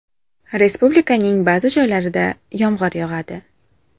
Respublikaning ba’zi joylarida yomg‘ir yog‘adi.